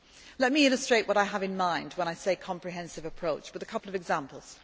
go. Let me illustrate what I have in mind when I say comprehensive approach' with a couple of examples.